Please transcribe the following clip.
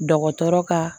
Dɔgɔtɔrɔ ka